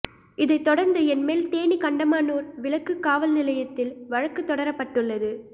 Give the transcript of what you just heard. இதைத் தொடர்ந்து என்மேல் தேனி கண்டமனூர் விலக்கு காவல் நிலையத்தில் வழக்குத் தொடரப்பட்டுள்ளது